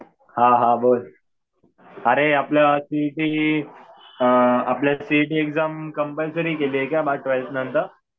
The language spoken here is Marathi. हा हा बोल. अरे आपलं सीइटी ची आपल्याला सीइटी ची एक्झाम कम्पल्सरी केलीये का ट्वेल्थ नंतर?